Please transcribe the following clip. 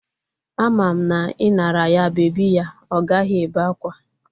Ama m na I nara ya bebi ya, Ọ gaghị ébé akwa.